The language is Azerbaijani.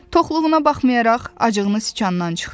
Toxluğuna baxmayaraq, acığını siçandan çıxdı.